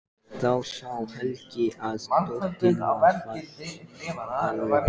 Þá sá Helgi að dótturinni var full alvara.